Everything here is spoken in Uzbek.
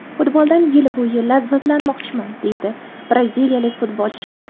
Futboldan yil bo‘yi lazzatlanmoqchiman”, – deydi braziliyalik futbolchi.